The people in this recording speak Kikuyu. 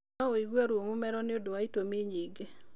No wĩigue ruo mũmero nĩundũ wa itũmi nyingĩ.